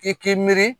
I k'i miiri